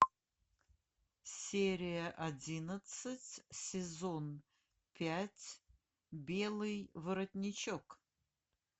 серия одиннадцать сезон пять белый воротничок